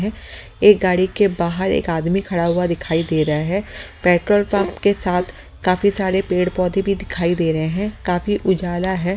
एक गाड़ी के बाहर एक आदमी खड़ा हुआ दिखाई दे रहा है पेट्रोल पंप के साथ काफी सारे पेड़-पौधे भी दिखाई दे रहे हैं काफी उजाला है।